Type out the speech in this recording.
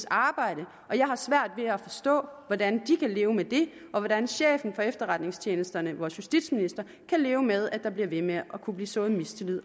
arbejde og jeg har svært ved at forstå hvordan de kan leve med det og hvordan chefen for efterretningstjenesterne vores justitsminister kan leve med at der bliver ved med at kunne blive sået mistillid